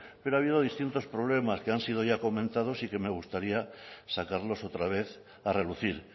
pero ha habido distintos problemas que han sido ya comentados y que me gustaría sacarlos otra vez a relucir